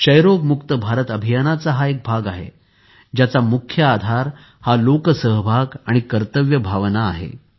क्षयरोयमुक्त भारत अभियानाचा हा एक भाग आहे ज्याचा मुख्य आधार हा लोकसहभाग आणि कर्तव्य भावना आहे